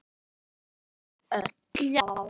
Hann elskaði ykkur öll.